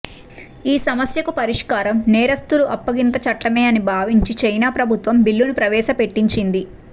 ఈ సమస్యకు పరిష్కారం నేరస్థుల అప్పగింత చట్టమే అని భావించి చైనా ప్రభుత్వం బిల్లును ప్రవేశపెట్టించింది